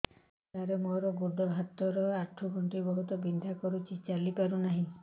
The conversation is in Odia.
ସାର ମୋର ଗୋଡ ହାତ ର ଆଣ୍ଠୁ ଗଣ୍ଠି ବହୁତ ବିନ୍ଧା କରୁଛି ଚାଲି ପାରୁନାହିଁ